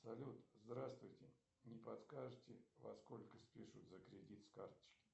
салют здравствуйте не подскажете во сколько спишут за кредит с карточки